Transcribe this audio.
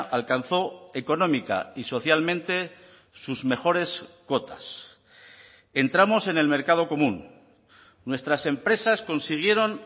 alcanzó económica y socialmente sus mejores cotas entramos en el mercado común nuestras empresas consiguieron